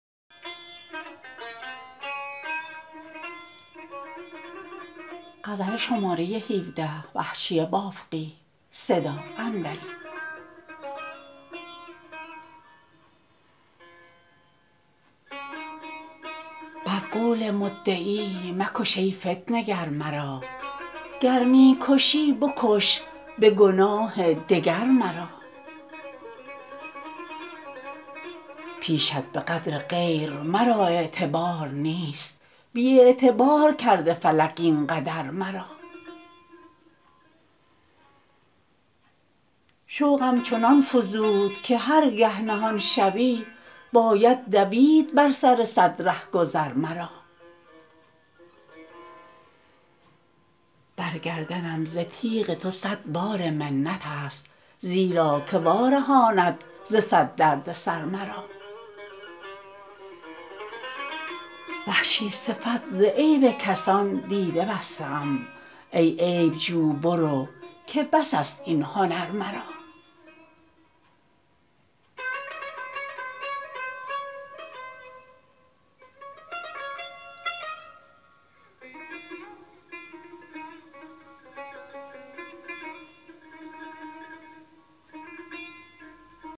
بر قول مدعی مکش ای فتنه گر مرا گر می کشی بکش به گناه دگر مرا پیشت به قدر غیر مرا اعتبار نیست بی اعتبار کرده فلک این قدر مرا شوقم چنان فزود که هرگه نهان شوی باید دوید بر سر صد رهگذر مرا برگردنم ز تیغ تو صد بار منت است زیرا که وارهاند ز صد دردسر مرا وحشی صفت ز عیب کسان دیده بسته ام ای عیبجو برو که بس است این هنر مرا